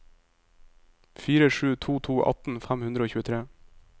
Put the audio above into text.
fire sju to to atten fem hundre og tjuetre